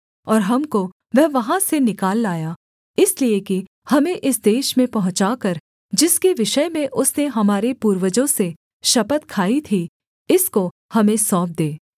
और हमको वह वहाँ से निकाल लाया इसलिए कि हमें इस देश में पहुँचाकर जिसके विषय में उसने हमारे पूर्वजों से शपथ खाई थी इसको हमें सौंप दे